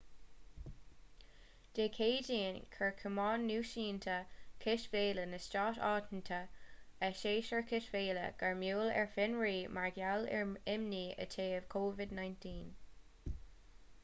dé céadaoin chuir cumann náisiúnta cispheile na stát aontaithe a shéasúr cispheile gairmiúil ar fionraí mar gheall ar imní i dtaobh covid-19